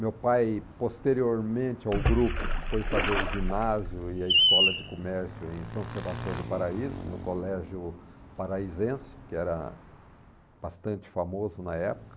Meu pai, posteriormente ao grupo, foi fazer o ginásio e a escola de comércio em São Sebastião do Paraíso, no Colégio Paraizense, que era bastante famoso na época.